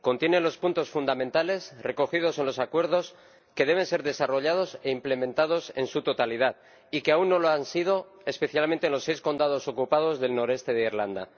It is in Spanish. Contiene los puntos fundamentales, recogidos en los acuerdos, que deben ser desarrollados e implementados en su totalidad y que aún no lo han sido, especialmente en los seis condados ocupados del noreste de Irlanda.